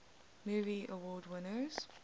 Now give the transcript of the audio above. movie award winners